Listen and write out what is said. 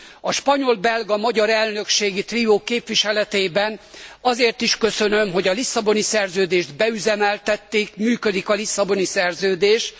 A spanyol belga magyar elnökségi trió képviseletében azért is köszönöm, hogy a Lisszaboni Szerződést beüzemeltették, működik a Lisszaboni Szerződés.